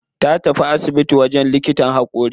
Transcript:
Ta tafi asibitin wajen likitan haƙori.